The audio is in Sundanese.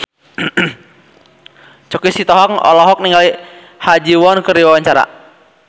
Choky Sitohang olohok ningali Ha Ji Won keur diwawancara